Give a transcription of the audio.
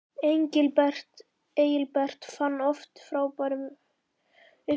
Engilbert fann oft upp á frábærum leikjum.